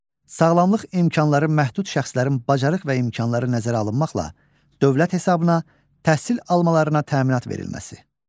Sağlamlıq imkanları məhdud şəxslərin bacarıq və imkanları nəzərə alınmaqla dövlət hesabına təhsil almalarına təminat verilməsi.